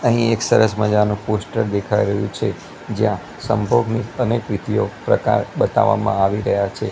અહીં એક સરસ મજાનુ પોસ્ટર દેખાઈ રહ્યુ છે જ્યાં સંભોગની અને કૃતીઓ પ્રકાર બતાવામાં આવી રહ્યા છે.